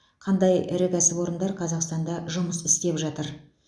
қандай ірі кәсіпорындар қазақстанда жұмыс істеп жатыр